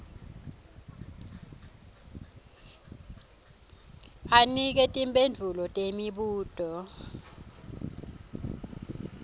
anike timphendvulo temibuto